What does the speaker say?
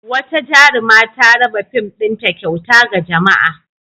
Wata jaruma ta raba fim ɗinta kyauta ga jama'a.